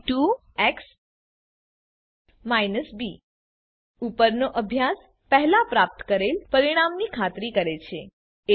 Ax b ઉપરનો અભ્યાસ પહેલાં પ્રાપ્ત કરેલ પરિણામની ખાતરી કરે છે